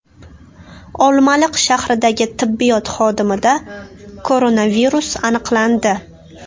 Olmaliq shahridagi tibbiyot xodimida koronavirus aniqlandi.